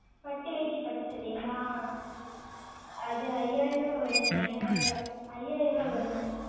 பட்டு வேட்டி பட்டு சட்டையா அது ஐயாயிரம் வரும் ஐயாயிரம் ஐயாயிரம் வரும்